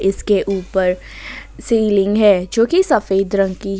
इसके ऊपर सीलिंग हैं जो की सफेद रंग की--